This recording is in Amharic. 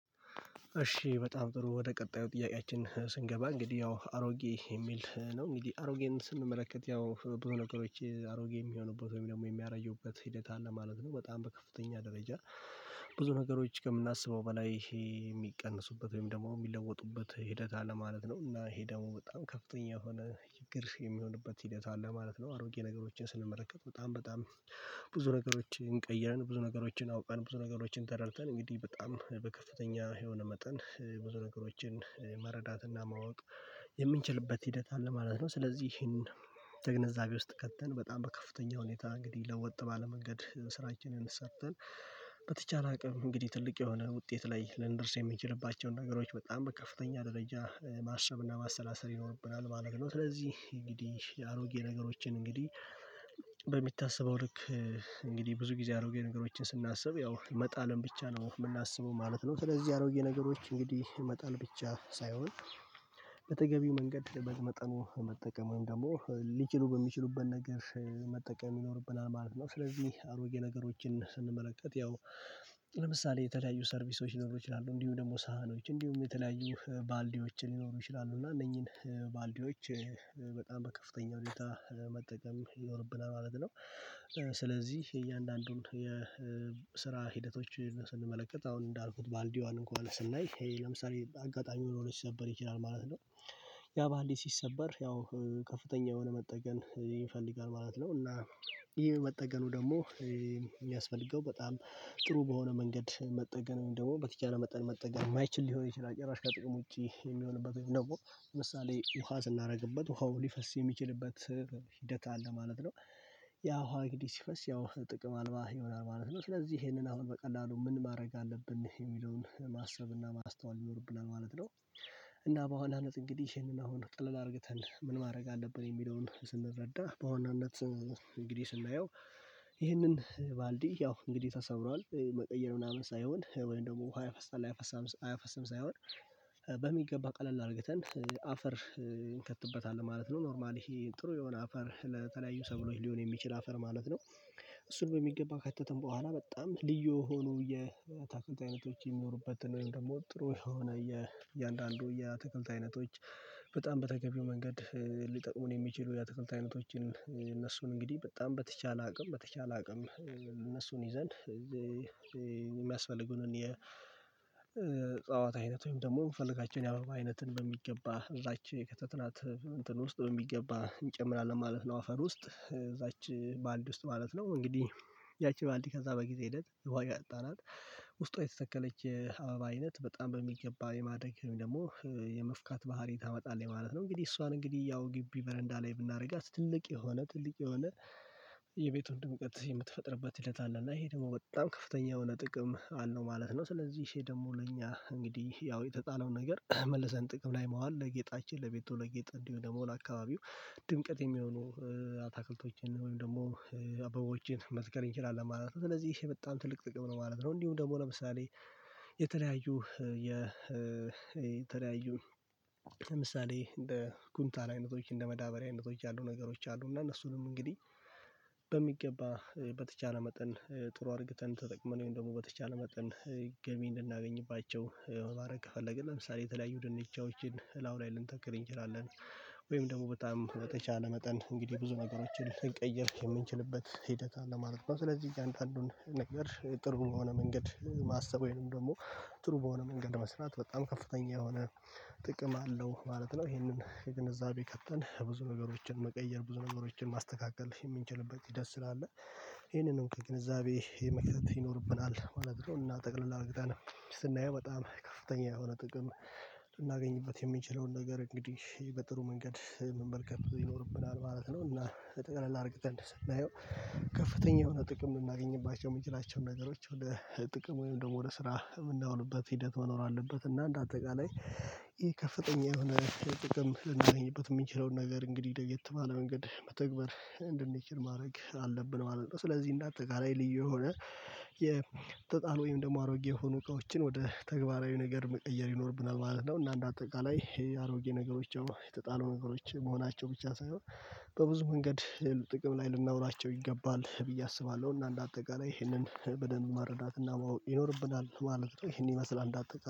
እሺ በጣም ጥሩ ወደ ቀጣዩ ጥያቄያችን ስንገባ እንግዲህ ያው አሮጌ የሚል ነው እንግዲህ አሮጌን ስንመለከት ያው ብዙ ነገሮች አሮጌ የሚሆኑበት ወይም ደግሞ የሚያጁበት ሂደት አለ ማለት ነው። በጣም በከፍተኛ ደረጃ ብዙ ነገሮች ከምናስበው በላይ ይሄ የሚቀንሱበት ወይም ደግሞ የሚለወጡበት ሂደት አለ ማለት ነው። እና ይሄ ደግሞ በጣም ከፍተኛ የሆነ ችግር የሚሆንበት ሂደት አለ ማለት ነው። አሮጌ ነገሮችን ስንመለከት በጣም በጣም ብዙ ነገሮችን ቀይረን ብዙ ነገሮችን አውቀን ብዙ ነገሮችን ተረድተን እንግዲህ በጣም በከፍተኛ የሆነ መጠን ብዙ ነገሮችን መረዳትና ማወቅ የምንችልበት ሂደት አለ ማለት ነው። ስለዚህ ይሄን ግንዛቤ ውስጥ ከተን በጣም በከፍተኛ ሁኔታ እንግዲህ ለወጥ ባለ መንገድ ስራችንን ሰርተን በተቻለ አቅም እንግዲህ ትልቅ የሆነ ውጤት ላይ ልንደርስ የምንችልባቸውን ነገሮች በጣም ከፍተኛ ደረጃ ማሰብና ማሰላሰል ይኖርብናል ማለት ነው። ስለዚህ እንግዲህ አሮጌ ነገሮችን እንግዲህ በሚታሰበው ልክ እንግዲህ ብዙ ጊዜ አሮጌ ነገሮችን ስናስብ ያው መጣልን ብቻ ነው የምናስበው ማለት ነው። ስለዚህ አሮጌ ነገሮች እንግዲህ መጣል ብቻ ሳይሆን በተገቢው መንገድ በመጠኑ መጠቀም ደግሞ ሊችሉ በሚችሉበት ነገር መጠቀም ይኖርብናል ማለት ነው። ስለዚህ አሮጌ ነገሮችን ስንመለከት ያው ለምሳሌ የተለያዩ ሰርቪሶች ሊኖሩ ይችላሉ እንዲሁ ደግሞ ሳህኖች እንዲሁም የተለያዩ ባልዲዎችን ሊኖሩ ይችላሉ እና እነኚህን ባልዲዎች በጣም በከፍተኛ ሁኔታ መጠቀም ይኖርብናል ማለት ነው፤። ስለዚህ የእያንዳንዱን የስራ ሂደቶችን ስንመለከት አሁን እንዳልኩት ባልዲዋን እንኳን ስናይ ይሄ ለምሳሌ አጋጣሚ ሆኖ ሲሰበር ይችላል ማለት ነው ያ ባልዲ ሲሰበር ያው ከፍተኛ የሆነ መጠገን ይፈልጋል ማለት ነው። እና ይሄ መጠገኑ ደግሞ የሚያስፈልገው በጣም ጥሩ በሆነ መንገድ መጠገን ደግሞ በተቻለ መጠገን መጠን የማይችል ሊሆን ይችላል ጭራሽ ከጥቅሞች የሚሆንበት ነው ለምሳሌ ውሃ ስናደርግበት ውሃው ሊፈስ የሚችልበት ሂደት አለ ማለት ነው ያ ውሃ እንግዲህ ሲፈስ ያው ጥቅም አልባ ይሆናል ማለት ነው። ስለዚህ ይሄንን አሁን በቀላሉ ምን ማድረግ አለብን የሚለውን ማሰብና ማስተዋል ይኖርብናል ማለት ነው፤። እና በዋናነት እንግዲህ ይሄንን አሁን ጥለን አድርግተን ምን ማድረግ አለብን የሚለውን ስንረዳ በዋናነት እንግዲህ ስናየው ይህንን ባልዲ ያው እንግዲህ ተሰብሯል መቀየር ምናምን ሳይሆን ወይም ደግሞ ውሃ ያፈሳል አያፈስም ሳይሆን በሚገባ ቀለል አድርገን አፈር እንከትበታለን ማለት ነው ኖርማሊ ይሄ ጥሩ የሆነ አፈር ለተለያዩ ሰብሎች ሊሆን የሚችል አፈር ማለት ነው፤። እሱን በሚገባ ከከተትን በኋላ በጣም ልዩ የሆኑ የታክልት አይነቶች የሚኖሩበትን ወይም ደግሞ ጥሩ የሆነ የእያንዳንዱ የተክልት አይነቶች በጣም በተገቢው መንገድ ሊጠቅሙን የሚችሉ የአትክልት አይነቶችን እነሱን እንግዲህ በጣም በተቻለ አቅም በተቻለ አቅም እነሱን ይዘን የሚያስፈልጉንን የዕጸዋት አይነት ወይም ደግሞ የምፈልጋቸውን የአበባ አይነትን በሚገባ እዛች ከተትናት እንትን ውስጥ በሚገባ እንጨምራለን ማለት ነው። አፈር ውስጥ እዛች ባልድ ውስጥ ማለት ነው እንግዲህ ያቺ ባልድ ከዛ በጊዜ ሂደት ውሃ ያጠጣናት ውስጧ የተተከለች አበባ አይነት በጣም በሚገባ የማድረግ ደግሞ የመፍካት ባህሪ ታመጣለች ማለት ነው። እንግዲህ እሷን እንግዲህ ያው ግቢ በረንዳ ላይ ብናደርጋት ትልቅ የሆነ ትልቅ የሆነ የቤቱን ድምቀት የምትፈጥርበት ሂደት አለ እና ይሄ ደግሞ በጣም ከፍተኛ የሆነ ጥቅም አለው ማለት ነው። ስለዚህ ይህ ደግሞ ለእኛ እንግዲህ ያው የተጣለውን ነገር መልሰን ጥቅም ላይ ማዋል ለጌጣችን ለቤቱ ለጌጣ እንዲሁ ለመውል አካባቢው ድምቅት የሚሆኑ አታክልቶችን ወይም ደግሞ አበቦችን መትከል እንችላለን ማለት ነው። ስለዚህ ይሄ በጣም ትልቅ ጥቅም ነው ማለት ነው። እንዲሁ ደግሞ ለምሳሌ የተለያዩ የተለያዩ ለምሳሌ እንደ ኩንታል አይነቶች እንደ መዳበሪያ አይነቶች ያሉ ነገሮች አሉ እና እነሱንም እንግዲህ በሚገባ በተቻለ መጠን ጥሩ አድርገን ተጠቅመን ወይም ደግሞ በተቻለ መጠን ገቢ እንድናገኝባቸው ማድረግ ከፈለግን ለምሳሌ የተለያዩ ድንቻዎችን እላዩ ላይ ልንተክል እንችላለን ወይም ደግሞ በጣም በተቻለ መጠን እንግዲህ ብዙ ነገሮችን ልንቀይር የምንችልበት ሂደት አለ ማለት ነው። ስለዚህ እያንዳንዱን ነገር ጥሩ በሆነ መንገድ ማሰብ ወይም ደግሞ ጥሩ በሆነ መንገድ መስራት በጣም ከፍተኛ የሆነ ጥቅም አለው ማለት ነው። ይሄንን ከግንዛቤ ከተን ብዙ ነገሮችን መቀየር ብዙ ነገሮችን ማስተካከል የምንችልበት ሂደት ስላለ ይሄንንም ከግንዛቤ የመክተት ይኖርብናል ማለት ነው። እና ጠቅለል አርግተን ስናየው በጣም ከፍተኛ የሆነ ጥቅም ልናገኝበት የምንችለውን ነገር እንግዲህ በጥሩ መንገድ መመልከት ይኖርብናል ማለት ነው። እና ጠቅለል አድርገን ስናየው ከፍተኛ የሆነ ጥቅም የምናገኝባቸው የምንችላቸውን ነገሮች ወደ ጥቅም ወይም ደግሞ ወደ ስራ የምናውልበት ሂደት መኖር አለበት እና እንደ አጠቃላይ ይሄ ከፍተኛ የሆነ ጥቅም ልናገኝበት የምንችለውን ነገር እንግዲህ ለየት ባለ መንገድ መተግበር እንድንችል ማድረግ አለብን ማለት ነው። ስለዚህ እንዳጠቃላይ ልዩ የሆነ የተጣሉ ወይም ደግሞ አሮጌ የሆኑ እቃዎችን ወደ ተግባራዊ ነገር መቀየር ይኖርብናል ማለት ነው። እና እንደ አጠቃላይ ይሄ አሮጌ ነገሮች የተጣሉ ነገሮች መሆናቸው ብቻ ሳይሆን በብዙ መንገድ ጥቅም ላይ ልናውላቸው ይገባል ብዬ አስባለሁ እና እንደ አጠቃላይ ይሄንን በደንብ መረዳት ማወቅ ይኖርብናል ማለት ነው። ይሄን ይመስላል እንዳጠቃላይ